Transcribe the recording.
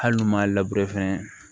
Hali n'u m'a fɛnɛ